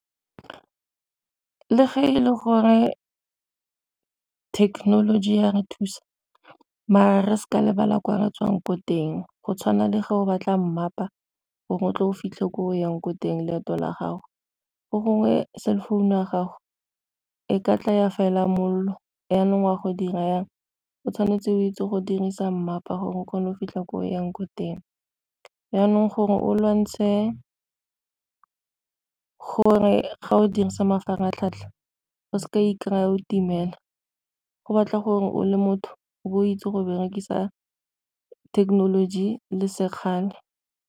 Le fa e le gore technology ya re thusa maar-e re seka lebala ko re tswang ko teng go tshwana le go ba tla mmapa gore o tle o fitlhe ko o yang ko teng leeto la gago, fo gongwe cell phone-u ya gago e ka tla ya fela molelo jaanong wa go dira jang, o tshwanetse o itse go dirisa mmapa gore o kgone go fitlha ko yang ko teng. Jaanong gore o lwantshe, gore ga o dirisa mafaratlhatlha go seka i-kry-a o timela go batla gore o le motho o bo o itse go berekisa thekenoloji le sekgala.